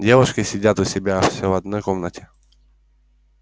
девушки сидят у себя все в одной комнате